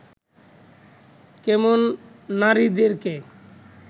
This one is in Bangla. কেমন নারীদেরকে